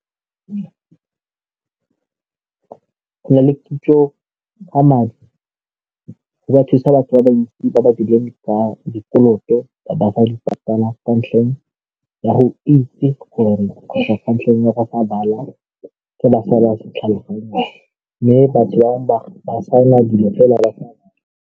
Go nna le kitso ba madi ba thusa batho ba bantsi ba ba dirileng dikoloto ba sa di patala ka ntlheng ya go itse gore kgotsa ka ntlheng ya gore sa tlhaloganye mme batho bangwe ba saena dilo fela.